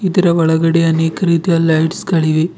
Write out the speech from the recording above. ಇದರ ಒಳಗಡೆ ಅನೇಕ ರೀತಿಯ ಲೈಟ್ಸ್ ಗಳಿವೆ.